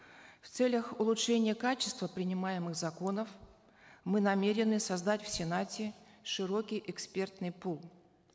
в целях улучшения качества принимаемых законов мы намерены создать в сенате широкий эспертный пул